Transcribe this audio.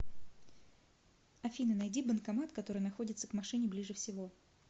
афина найди банкомат который находится к машине ближе всего